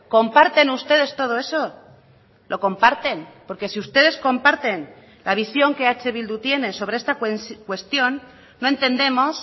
comparten ustedes todo eso lo comparten porque si ustedes comparten la visión que eh bildu tiene sobre esta cuestión no entendemos